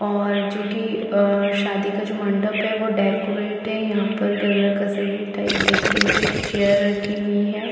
और जो की अ शादी का जो मण्डप है वो डेकोरेट है यहाँ पर गैदर कसेडिक टाइप डेकोरेटेड है एक चेयर रखी हुई है।